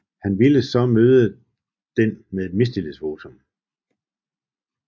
Han ville så møde den med et mistillidsvotum